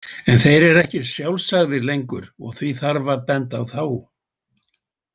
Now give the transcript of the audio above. En þeir eru ekki sjálfsagðir lengur, og því þarf að benda á þá.